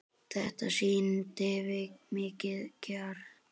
Þetta sýndi mikinn kjark.